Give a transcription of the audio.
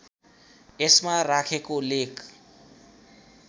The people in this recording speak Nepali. यसमा राखेको लेख